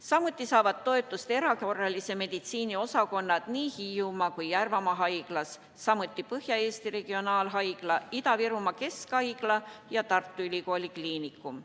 Samuti saavad toetust erakorralise meditsiini osakonnad nii Hiiumaa kui Järvamaa haiglas, samuti Põhja-Eesti Regionaalhaigla, Ida-Virumaa Keskhaigla ja Tartu Ülikooli Kliinikum.